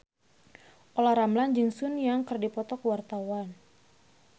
Olla Ramlan jeung Sun Yang keur dipoto ku wartawan